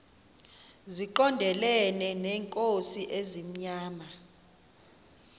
zigondelene neenkosi ezimnyama